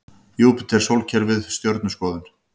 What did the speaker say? Júpíter Sólkerfið Stjörnuskoðun.